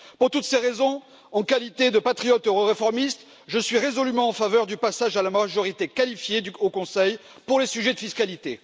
Pour toutes ces raisons, en qualité de patriote euroréformiste, je suis résolument en faveur du passage à la majorité qualifiée au Conseil pour les sujets de fiscalité.